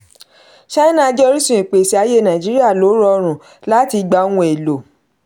china jẹ́ orísun ìpèsè ayé nàìjíríà lo rọrùn láti gba ohun èlò.